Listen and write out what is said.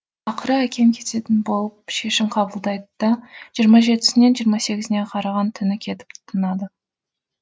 ақыры әкем кететін болып шешім қабылдайды да жиырма жетісінен жиырма сегізіне қараған түні кетіп тынады